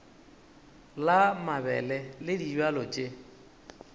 la mabele le dibjalo tše